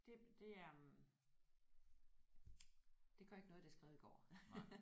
Det det er det gør ikke noget det er skrevet i går